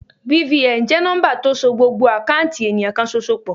BVN jẹ́ nọ́ḿbà tó so gbogbo àkáùntì ènìyàn kan ṣoṣo pọ̀.